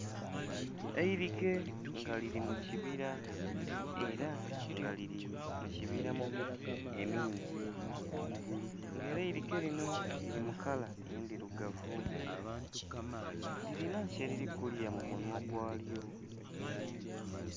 Eilike nga lili mu kibila ela nga lili mu kibila mu miti emingi. Nga ela eilike linho lili mu kala endhilugavu lilinha kyelili kulya mu munhwa gwa lyo.